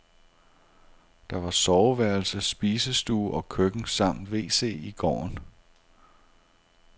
Der var soveværelse, spisestue og køkken samt wc i gården.